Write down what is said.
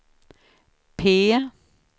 P